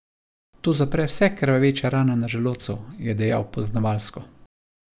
To zapre vse krvaveče rane na želodcu, je dejal poznavalsko.